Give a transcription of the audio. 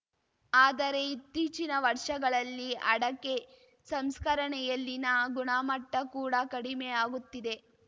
ಆದರೆ ಇತ್ತೀಚಿನ ವರ್ಷಗಳಲ್ಲಿ ಅಡಕೆ ಸಂಸ್ಕರಣೆಯಲ್ಲಿನ ಗುಣಮಟ್ಟಕೂಡ ಕಡಿಮೆಯಾಗುತ್ತಿದೆ